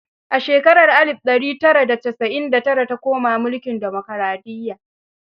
A shekarar alif da ɗari tara da casa'in da tara ta koma mulkin demokaraɗiyya.